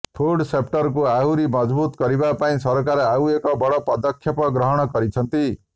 food ସେପ୍ଟଟକୁ ଆହୁରି ମଜବୁତ କରିବା ପାଇଁ ସରକାର ଆଉ ଏକ ବଡ ପଦକ୍ଷେପ ଗ୍ରହଣ କରିଛନ୍ତି